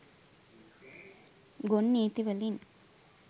ගොන් නීති වලින්